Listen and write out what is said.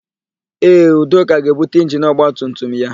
Ee, Udoka ga-ebute injini ọgbatumtum ya.